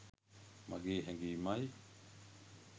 මගේ හැගීමයි